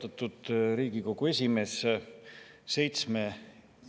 Austatud Riigikogu esimees!